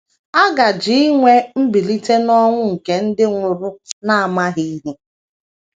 A gaje inwe mbilite n’ọnwụ nke ndị nwụrụ n’amaghị ihe.